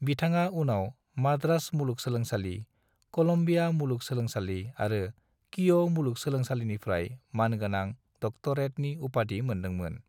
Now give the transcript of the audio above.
बिथाङा उनाव माद्रास मुलुगसोलोंसालि, कलम्बिया मुलुगसोलोंसालि आरो कीअ' मुलुगसोलोंसालिनिफ्राय मानगोनां डक्टरेटनि उपाधि मोनदोंमोन।